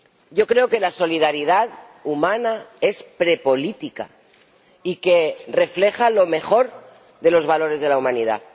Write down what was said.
Yo creo que la solidaridad humana es prepolítica y refleja lo mejor de los valores de la humanidad.